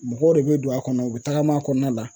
Mɔgɔw de bɛ don a kɔnɔ u bɛ tagama a kɔnɔna la.